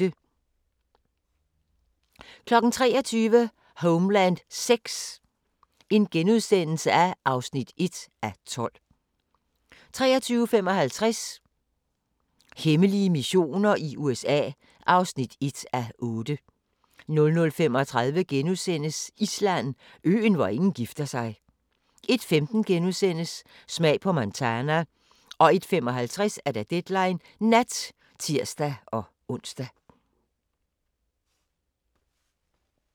23:00: Homeland VI (1:12)* 23:55: Hemmelige missioner i USA (1:8) 00:35: Island: Øen, hvor ingen gifter sig * 01:15: Smag på Montana * 01:55: Deadline Nat (tir-ons)